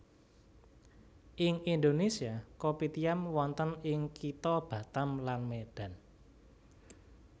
Ing Indonesia kopitiam wonten ing kitha Batam lan Medan